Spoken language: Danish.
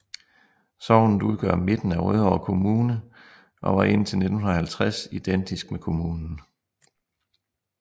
Sognet udgør midten af Rødovre Kommune og var indtil 1950 identisk med kommunen